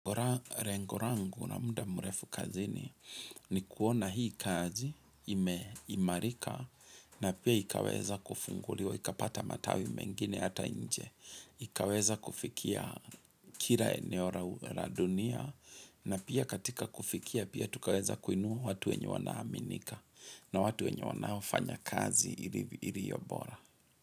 Ura rengorangu na muda murefu kazini ni kuona hii kazi ime imarika na pia ikaweza kufunguliwa, ika pata matawi mengine ata nje, ikaweza kufikia kira eneo ra dunia na pia katika kufikia pia tukaweza kuinua watu wenye wanaaminika na watu wenye wanaofanya kazi iliyobora.